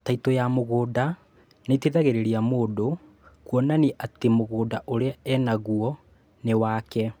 Taitũ ya mũgũnda nĩiteithagĩrĩria mũndũ kuonania atĩ mũgũnda ũrĩa enaguo nĩ wake